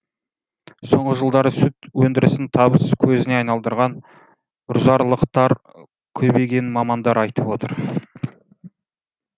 соңғы жылдары сүт өндірісін табыс көзіне айналдырған үржарлықтар көбейгенін мамандар айтып отыр